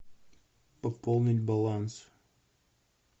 пополнить баланс